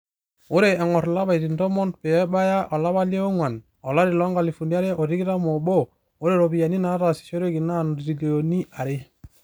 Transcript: Ore engo'r ilapaitin tomon peebaya olapa le onguan olari loo nkalifuni are o tikitam oobo, ore ropiyiani naatasishoreki naa ntrilioni are.